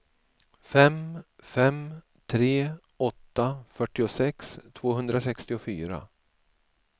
fem fem tre åtta fyrtiosex tvåhundrasextiofyra